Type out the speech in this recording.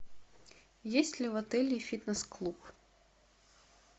есть ли в отеле фитнес клуб